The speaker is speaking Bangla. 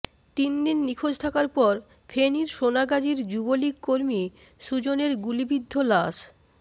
তিনদিন নিখোঁজ থাকার পর ফেনীর সোনাগাজীর যুবলীগ কর্মী সুজনের গুলিবিদ্ধ লাশ